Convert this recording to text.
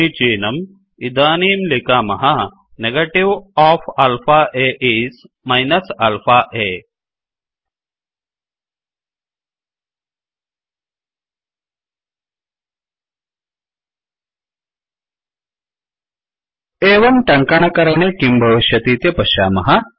समीचीनं इदानीं लिखामः negative of alpha a is minus alpha a negative of alpha a is minus alpha a एवं टङ्कणकरणे किं भविष्यतीति पश्यामः